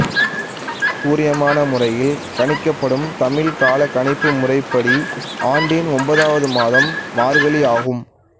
சூரியமான முறையில் கணிக்கப்படும் தமிழ் காலக் கணிப்பு முறைப்படி ஆண்டின் ஒன்பதாவது மாதம் மார்கழி ஆகும்